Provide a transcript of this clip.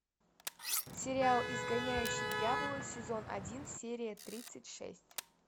сериал изгоняющий дьявола сезон один серия тридцать шесть